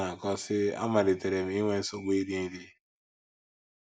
Ọ na - akọ, sị: “ Amalitere m inwe nsogbu iri nri.